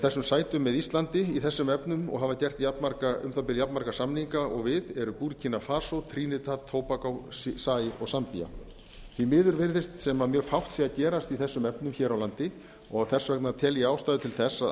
þessum sætum með íslandi í það er erum efnum og hafa gert um það bil jafn marga samninga og við eru búrkína fara trinitat tobacco zaír og zambía því miður virðist sem fátt sé að gerast í þessum efnum hér á landi og þess vegna tel ég ástæðu til þess að